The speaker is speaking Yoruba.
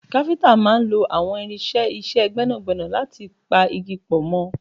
Káfíntà máà ń lo àwọn irinṣẹ́ iṣẹ́ gbẹ́nàgbẹ́nà láti pa igi pọ̀ mọ́